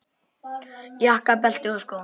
Jakka, belti og skó.